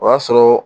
O y'a sɔrɔ